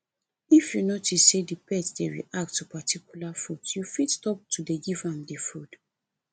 if you notice sey di pet dey react to particular food you fit stop to dey give am di food